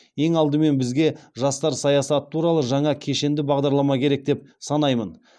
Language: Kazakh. ең алдымен бізге жастар саясаты туралы жаңа кешенді бағдарлама керек деп санаймын